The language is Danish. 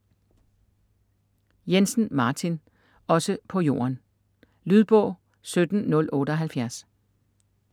Jensen, Martin: Også på jorden Lydbog 17078